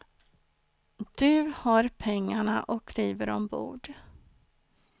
Du har pengarna och kliver ombord.